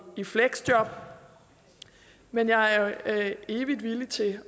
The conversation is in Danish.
i fleksjob men jeg er evigt villig til